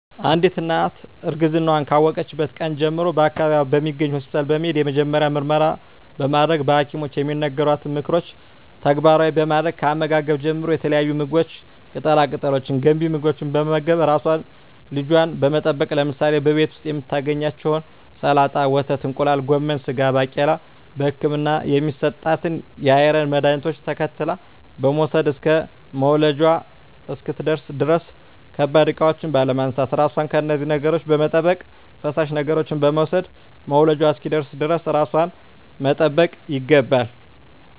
አንዲት እናት እርግዝናዋን ካወቀችበት ቀን ጀምሮ በአካባቢዋ በሚገኝ ሆስፒታል በመሄድ የመጀመሪያ ምርመራ በማድረግ በሀኪሞች የሚነገሯትን ምክሮች ተግባራዊ በማድረግ ከአመጋገብ ጀምሮ የተለያዩ ምግቦች ቅጠላ ቅጠሎች ገንቢ ምግቦች በመመገብ ራሷንና ልጇን በመጠበቅ ለምሳሌ በቤት ዉስጥ የምታገኛቸዉን ሰላጣ ወተት እንቁላል ጎመን ስጋ ባቄላ በህክምና የሚሰጣትን የአይረን መድሀኒቶች ተከታትላ በመዉሰድ እስከ መዉለጃዋ እስክትደርስ ድረስ ከባድ እቃዎች ባለማንሳት ራሷን ከነዚህ ነገሮች በመጠበቅ ፈሳሽ ነገሮችን በመዉሰድ መዉለጃዋ እስኪደርስ ድረስ ራሷን መጠበቅ ይገባል